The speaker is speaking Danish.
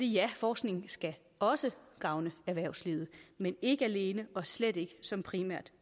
ja forskningen skal også gavne erhvervslivet men ikke alene og slet ikke som primært